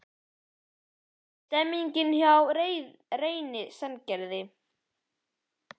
Hvernig er stemningin hjá Reyni Sandgerði?